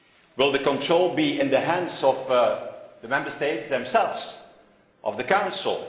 Will the control be in the hands of the Member States themselves, of the Council?